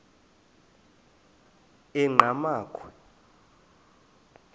enqgamakhwe